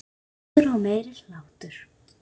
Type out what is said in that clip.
Hlátur og meiri hlátur.